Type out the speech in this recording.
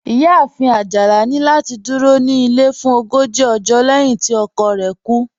Iyáàfin Ajálà ni lati dúró ní ilẹ̀ fún ògójì ọ̀jọ́ lẹ̀hin tí ọkọ̀ rẹ̀ kú